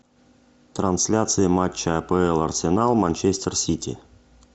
трансляция матча апл арсенал манчестер сити